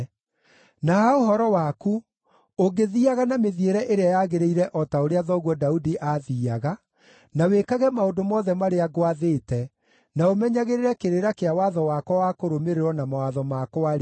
“Na ha ũhoro waku, ũngĩthiiaga na mĩthiĩre ĩrĩa yagĩrĩire o ta ũrĩa thoguo Daudi aathiiaga, na wĩkage maũndũ mothe marĩa ngwathĩte, na ũmenyagĩrĩre kĩrĩra kĩa watho wakwa wa kũrũmĩrĩrwo na mawatho makwa-rĩ,